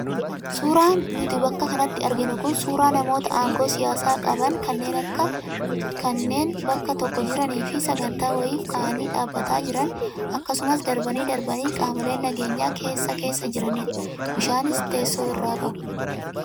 Suuraan nuti bakka kanatti arginu kun suuraa namoota aangoo siyaasaa qaban kanneen bakka tokko jiranii fi sagantaa wayiif ka'anii dhaabbataa jiran akksumas darbanii darbanii qaamoleen nageenyaa keessa keessa jiranidha. Bishaanis teessoo irraa qabu.